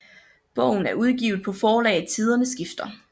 Bogen er udgivet på forlaget Tiderne Skifter